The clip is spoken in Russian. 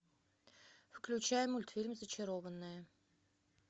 включай мультфильм зачарованные